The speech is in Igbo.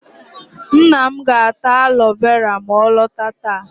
Nna m ga-ata alo vera ma ọ lọta taa.